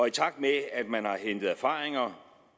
i takt med at at man har hentet erfaringer